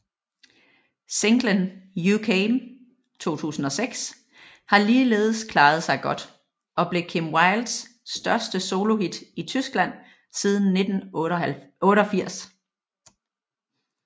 Singlen You Came 2006 har ligeledes klaret sig godt og blev Kim Wildes største solohit i Tyskland siden 1988